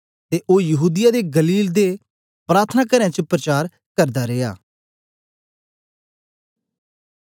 ते ओ यहूदीया दे गलील दे प्रार्थनाकारें च परचार करदा रिया